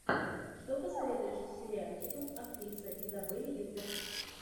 что посоветуешь из сериальчиков актриса изабель юппер